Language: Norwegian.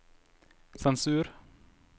sensur